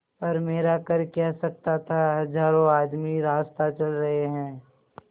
पर मेरा कर क्या सकता था हजारों आदमी रास्ता चल रहे हैं